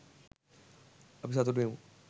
අපි සතුටු වෙමු.